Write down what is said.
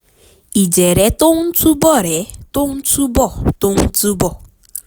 ìjẹ̀rẹ́ tó ń túbọ̀rẹ́ tó ń túbọ̀ tó ń túbọ̀